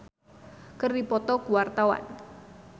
Iwa K jeung Shania Twain keur dipoto ku wartawan